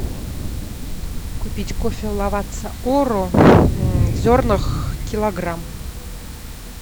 купить кофе лавацца оро в зернах килограмм